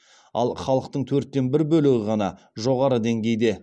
ал халықтың төрттен бір бөлігі ғана жоғары деңгейде